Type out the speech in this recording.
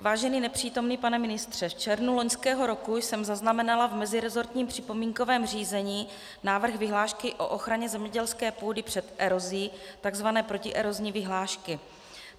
Vážený nepřítomný pane ministře, v červnu loňského roku jsem zaznamenala v meziresortním připomínkovém řízení návrh vyhlášky o ochraně zemědělské půdy před erozí, tzv. protierozní vyhlášky.